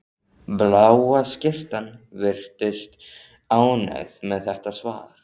Bláa skyrtan virðist ánægð með þetta svar.